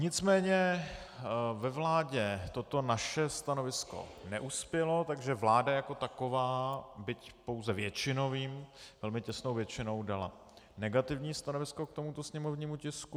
Nicméně ve vládě toto naše stanovisko neuspělo, takže vláda jako taková byť pouze většinovým, velmi těsnou většinou dala negativní stanovisko k tomuto sněmovnímu tisku.